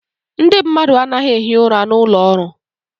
Ndị mmadụ anaghị ehi ụra n'ụlọ ọrụ.